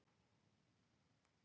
Rolf, hvaða mánaðardagur er í dag?